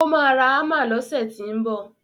Ó máa ra Hámà lọsẹ̀ tínbọ̀.